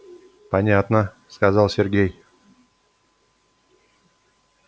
понятно сказал сергей